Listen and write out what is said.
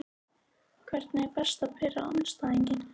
Hvernig er best að pirra andstæðinginn?